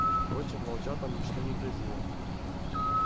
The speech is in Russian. впрочем волчатам ничто не грозило